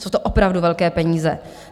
Jsou to opravdu velké peníze.